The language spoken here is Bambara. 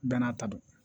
Bɛɛ n'a ta don